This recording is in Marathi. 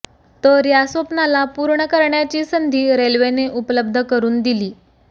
तर या स्वप्नाला पूर्ण करण्याची संधी रेल्वेने उपलब्ध करून दिली